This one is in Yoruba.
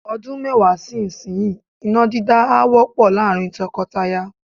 Ọdún mẹ́wàá sí ìsinyìí, iná dídá á wọ́pọ̀ láàrín tọkọtaya.